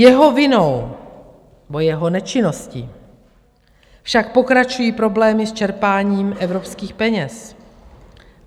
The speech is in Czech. Jeho vinou, nebo jeho nečinností, však pokračují problémy s čerpáním evropských peněz.